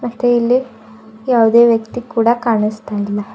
ಮತ್ತೆ ಇಲ್ಲಿ ಯಾವುದೇ ವ್ಯಕ್ತಿ ಕೂಡ ಕಾಣಸ್ತಾ ಇಲ್ಲ.